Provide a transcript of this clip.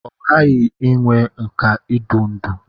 Ọ ghaghị inwe nkà idu ndú.